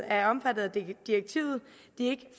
er omfattet af direktivet ikke